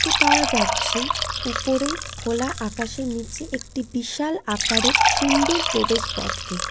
দেখতে পাওয়া যাচ্ছে ওপরে খোলা আকাশের নিচে একটি বিশাল আকারের সুন্দর প্রবেশ পথকে ।